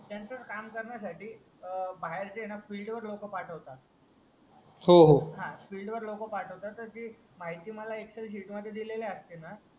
त्यांचाच काम केरण्यासाठी आ बाहेरचे ना पाठवतात हो हो हा तर स्पीड वेळ लोक पाठवतात तर जी माहिती मला एक्सेल शीटमध्ये दिलेली असते ना